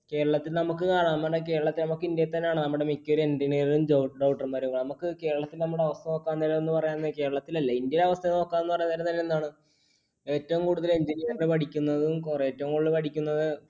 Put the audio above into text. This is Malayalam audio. കേരളത്തിൽ നമുക്ക് കാണാം ഇന്ത്യയിൽ തന്നെ കാണാം നമ്മുടെ engineer ഉം doctor ഏറ്റവും കൂടുതൽ engineer നു പഠിക്കുന്നതും